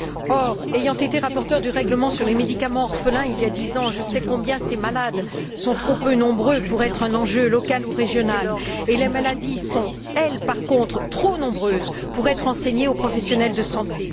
Or, ayant été rapporteure du règlement sur les médicaments orphelins, il y a dix ans, je sais combien ces malades sont trop peu nombreux pour être un enjeu local ou régional, et combien les maladies sont, elles, par contre, trop nombreuses pour être enseignées aux professionnels de la santé.